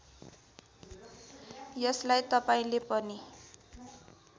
यसलाई तपाईँले पनि